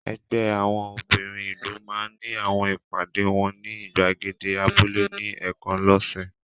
Ẹgbẹ́ àwọn obìnrin ìlú máa ń ní àwọn ìpàdé wọn ní ìgbàgede abúlé ní ẹ̀ẹ̀kan lọ́sẹ̀.